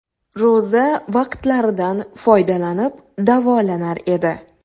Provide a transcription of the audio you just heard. Ro‘za vaqtlaridan foydalanib davolanar edi.